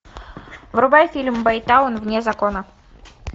врубай фильм бэйтаун вне закона